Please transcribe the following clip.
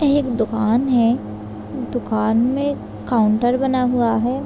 यह एक दुकान है दुकान में काउंटर बना हुआ है।